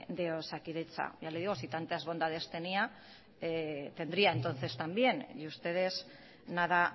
de osakidetza ya le digo si tantas bondades tenía tendría entonces también y ustedes nada